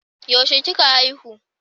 Yaushe kika haihu